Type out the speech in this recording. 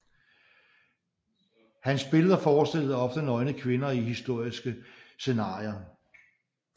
Hans billeder forestillede ofte nøgne kvinder i historiske scenarier